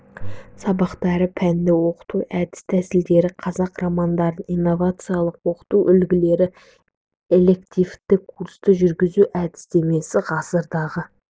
сабақтары пәнді оқыту әдіс-тәсілдері қазақ романдарын инновациялық оқыту үлгілері элективті курсты жүргізу әдістемесі ғасырдағы